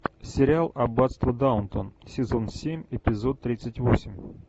сериал аббатство даунтон сезон семь эпизод тридцать восемь